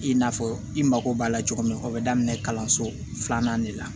I n'a fɔ i mago b'a la cogo min o be daminɛ kalanso filanan de la